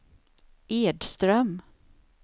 Edström